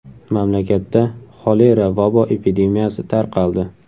Mamlakatda xolera vabo epidemiyasi tarqaldi.